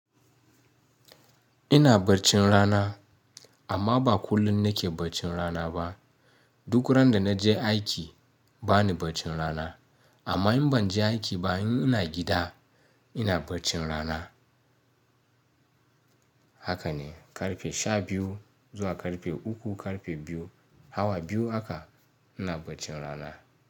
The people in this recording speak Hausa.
Ina barcin rana amma ba kullum na ke barcin rana ba. Duk randa na je aiki bani barcin rana. Amma in ban je aiki ba, in ina gida ina barcin rana. Haka ne, karfe sha biyu zuwa karfe uku, karfe biyu, hawa biyu haka ina barcin rana.